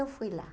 Eu fui lá.